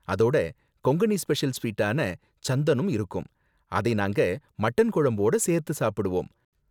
அதோட கொங்கணி ஸ்பெஷல் ஸ்வீட்டான சந்தனும் இருக்கும், அதை நாங்க மட்டன் குழம்போட சேர்த்து சாப்பிடுவோம்.